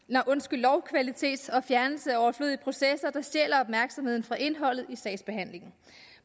lovkvalitet og fjernelse af overflødige processer der stjæler opmærksomheden fra indholdet i sagsbehandlingen